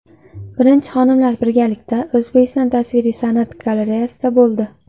Birinchi xonimlar birgalikda O‘zbekiston tasviriy san’at galereyasida bo‘ldi.